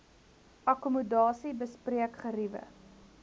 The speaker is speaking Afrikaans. akkommodasie bespreek geriewe